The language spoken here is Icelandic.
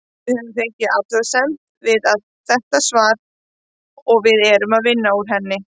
Við höfum fengið athugasemd við þetta svar og erum að vinna úr henni.